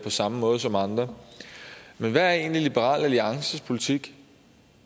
samme måde som andre men hvad er egentlig liberal alliances politik